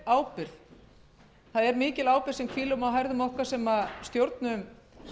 fjölmiðlamarkaði það hvílir mikil ábyrgð á herðum okkar sem stjórnum